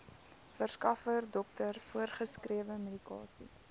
verskaffer dokter voorgeskrewemedikasie